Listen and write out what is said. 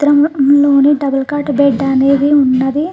చిత్రం లోని double cot bed అనేది ఉన్నది.